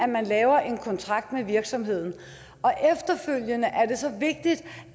man laver en kontrakt med virksomhederne og efterfølgende er det så vigtigt